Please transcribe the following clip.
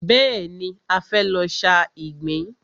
Bẹ́ẹ̀ni, a fẹ́ lọ sa ìgbín.